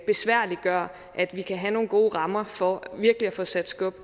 besværliggør at vi kan have nogle gode rammer for virkelig at få sat skub